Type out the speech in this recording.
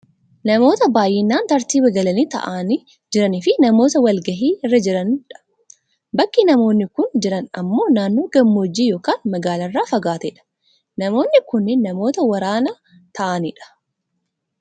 Namoota baayyinaan tartiiba galanii taa'anii jiranii fi namoota wal gahii irra jirani dha. Bakki nmaoonni kun jiran ammoo naannoo gammoojjii yookaan magaalaarraa fagaate dha. Namoonni kunneen namoota waraana ta'ani dha.